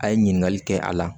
A ye ɲininkali kɛ a la